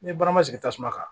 N ye baara ma sigi tasuma kan